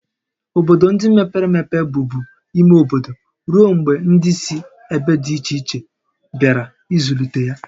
Obodo ndị mepere emepe bụbu ime obodo ruo mgbe ndị si ebe dị iche iche bịara ịzụlite ha